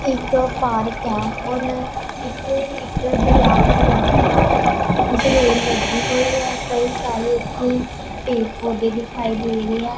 ਇੱਕ ਪਾਰਕ ਐ ਔਰ ਇੱਥੇ ਇੱਕ ਦਰਿਆ ਬਣਿਆ ਹੌਇਐ ਗ੍ਰਿਲ ਲੱਗੀ ਹੋਈ ਐ ਕਈ ਸਾਰੇ ਇੱਥੇ ਪੇੜ ਪੌਧੇ ਦਿਖਾਈ ਦੇ ਰਹੇ ਐ।